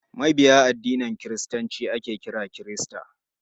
Mabiya addinin kiristanci ake kira kirista.